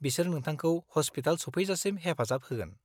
बिसोर नोंथांखौ हस्पिटाल सफैजासिम हेफाजाब होगोन।